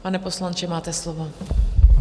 Pane poslanče, máte slovo.